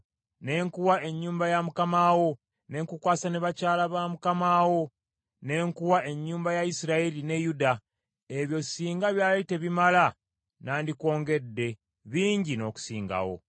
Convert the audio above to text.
ne nkuwa ennyumba ya mukama wo, ne nkukwasa ne bakyala ba mukama wo, ne nkuwa ennyumba ya Isirayiri ne Yuda; ebyo singa byali tebimala nandikwongedde bingi n’okusingawo.